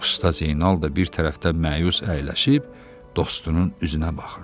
Usta Zeynal da bir tərəfdən məyus əyləşib dostunun üzünə baxırdı.